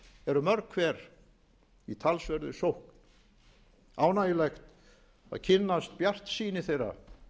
eru mörg hver í talsverðri sókn ánægjulegt að kynnast bjartsýni þeirra